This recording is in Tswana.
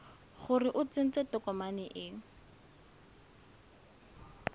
gore o tsentse tokomane e